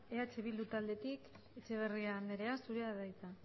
eh bildu taldetik etxeberria andrea zurea da hitza